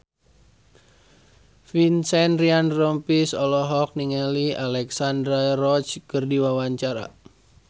Vincent Ryan Rompies olohok ningali Alexandra Roach keur diwawancara